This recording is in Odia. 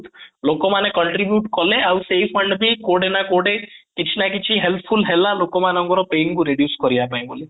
ଲୋକ ମାନେ contribute କଲେ ଆଉ ସେଇ fund ବି କୋଉଠି ନ କୋଉଠି କିଛି ନ କିଛି helpful ହେଲା ହେଲା ଲୋକମାନଙ୍କର pain କୁ reduce କରିବା ପାଇଁ